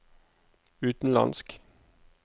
utenlandsk